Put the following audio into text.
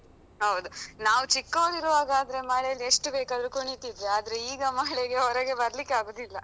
ಹೌದ್. ನಾವ್ ಚಿಕ್ಕೋವ್ರಿರುವಾಗಾದ್ರೆ ಮಳೆಲ್ಲಿ ಎಷ್ಟು ಬೇಕಾದ್ರು ಕುಣಿತಿದ್ವಿ, ಆದ್ರೆ ಈಗ ಮಳೆಗೆ ಹೊರಗೆ ಬರ್ಲಿಕ್ಕೆ ಆಗುದಿಲ್ಲ.